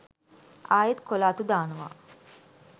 ආයෙත් කොළ අතු දානවා